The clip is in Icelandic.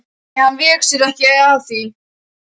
Nei, hann vék sér ekki að mér.